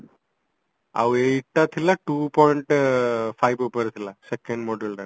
ଆଉ ଏଇଟା ଥିଲା two point five ଉପରେ ଥିଲା second muduleଟାର